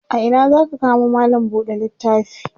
a Ina zaka kamo mallam buɗe littafi?